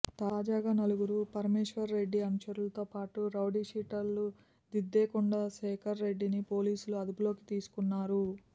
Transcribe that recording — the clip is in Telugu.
తాజాగా నలుగురు పరమేశ్వర్రెడ్డి అనుచరులతోపాటు రౌడీషీటర్ దిద్దేకుంట శేఖర్రెడ్డిని పోలీసులు అదుపులోకి తీసుకున్నారు